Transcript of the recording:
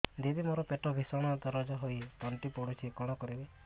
ଦିଦି ମୋର ପେଟ ଭୀଷଣ ଦରଜ ହୋଇ ତଣ୍ଟି ପୋଡୁଛି କଣ କରିବି